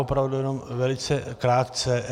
Opravdu jenom velice krátce.